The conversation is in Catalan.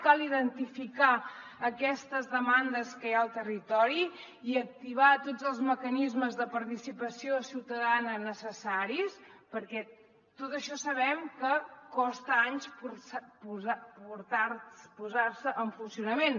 cal identificar aquestes demandes que hi ha al territori i activar tots els mecanismes de participació ciutadana necessaris perquè tot això sabem que costa anys posar ho en funcionament